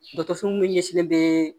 Dɔkɔtɔrɔso min ɲɛ sinnen be